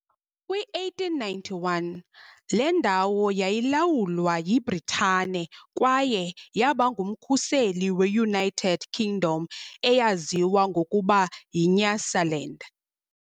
kwi-1891, le ndawo yayilawulwa yiBritane kwaye yaba ngumkhuseli we- United Kingdom eyaziwa ngokuba yiNyasaland.